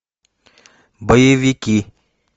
боевики